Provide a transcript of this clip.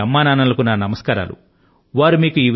మీ అమ్మానాన్నల కు నా నమస్కారాలు చెప్పండి